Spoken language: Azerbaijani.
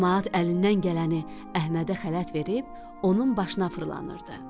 Camaat əlindən gələni Əhmədə xələt verib onun başına fırlanırdı.